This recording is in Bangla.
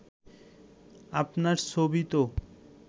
আপনার ছবি তো